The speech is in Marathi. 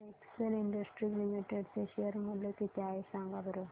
आज एक्सेल इंडस्ट्रीज लिमिटेड चे शेअर चे मूल्य किती आहे सांगा बरं